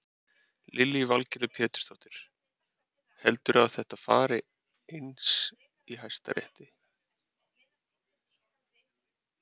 Lillý Valgerður Pétursdóttir: Heldur þú að þetta fari eins í Hæstarétti?